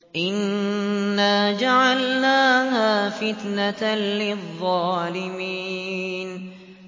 إِنَّا جَعَلْنَاهَا فِتْنَةً لِّلظَّالِمِينَ